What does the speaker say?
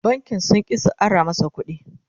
bankin sun ƙi su Ara masa ƙuɗi